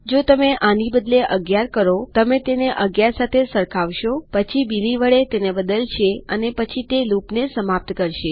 જો તમે આને બદલી ૧૧ કરોતમે તેને ૧૧ સાથે સરખાવશોપછી બિલી વડે તેને બદલશે અને પછી તે લૂપને સમાપ્ત કરશે